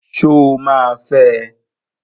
Sọ ma fẹ?